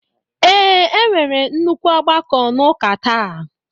Ee, e nwere nnukwu ọgbakọ n'ụka ​​taa